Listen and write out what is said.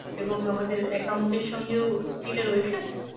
এবং আমাদের account এর সাথেও কি এটা রয়েছে?